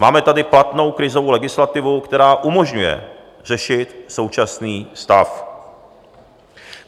Máme tady platnou krizovou legislativu, která umožňuje řešit současný stav.